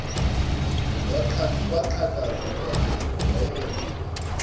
kwaqhakaza kwanyoka wayengaconsi